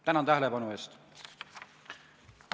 Tänan tähelepanu eest!